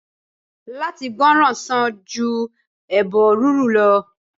Látí gbòrán sań ju ebo rurú lọ